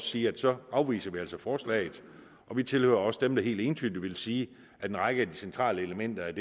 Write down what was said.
sige at så afviser vi altså forslaget og vi tilhører også dem der helt entydigt vil sige at en række af de centrale elementer